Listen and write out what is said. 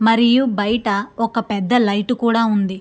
మరియు బయట ఒక పెద్ద లైటు కూడా ఉంది.